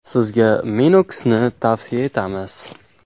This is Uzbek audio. Sizga Minox ’ni tavsiya etamiz!